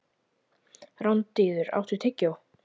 Randíður, áttu tyggjó?